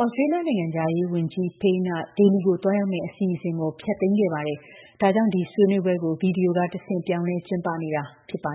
ဩစတြေးလျ နိုင်ငံခြားရေးဝန်ကြီး Payne က ဒေလီကို သွားရောက်မယ့် အစီအစဉ်ကို ဖျက်သိမ်းခဲ့တာပါ။ ဒါကြောင့် Raisina Dialogue ကို ဗီဒီယိုကတဆင့် ပြောင်းလဲ ကျင်းပနေတာ ဖြစ်ပါ